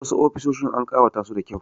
Wasu ofisoshin an ƙawata su da kyau.